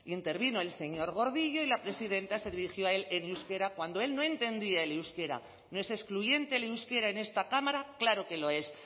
intervino el señor gordillo y la presidenta se dirigió a él en euskera cuando él no entendía el euskera no es excluyente el euskera en esta cámara claro que lo es